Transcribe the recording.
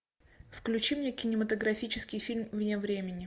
включи мне кинематографический фильм вне времени